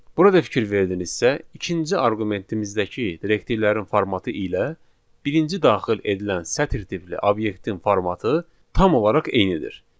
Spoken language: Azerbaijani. Burada fikir verdinizsə, ikinci arqumentimizdəki direktivlərin formatı ilə birinci daxil edilən sətr tipli obyektin formatı tam olaraq eynidir.